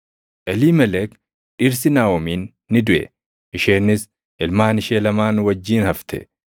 Eliimelek dhirsi Naaʼomiin ni duʼe; isheenis ilmaan ishee lamaan wajjin hafte.